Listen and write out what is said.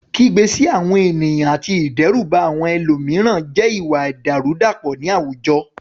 Kígbe sí àwọn ènìyàn àti ìdẹ́rùbà àwọn ẹlòmíràn jẹ́ ìwà ìdàrúdàpọ̀ ní àwùjọ.